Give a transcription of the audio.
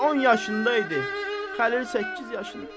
Cəlil 10 yaşında idi, Xəlil səkkiz yaşında.